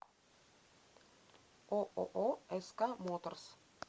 ооо ск моторс